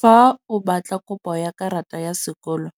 Fa o batla kopo ya karata ya sekolo,